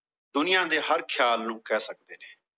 ਦੁਨੀਆ ਦੇ ਹਰ ਖਿਆਲ ਨੂੰ ਕਹਿ ਸਕਦੇ ਨੇ।